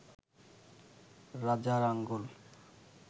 রাজার আঙ্গুল